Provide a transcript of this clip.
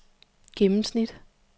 gennemsnit